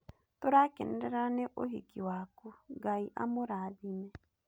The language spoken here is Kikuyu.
Tũragũkenerera nĩ ũhiki waku. Ngai amũrathime.